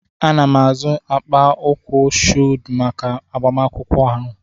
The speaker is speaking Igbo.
Ana m azụ akpa ụkwụ shụwed maka agbamakwụkwọ ahụ.